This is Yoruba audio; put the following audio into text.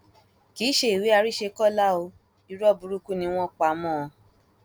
kì í ṣe ìwé àrísẹkọlá o irọ burúkú ni wọn pa mọ ọn